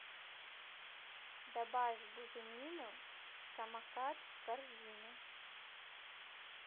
добавь буженину самокат в корзину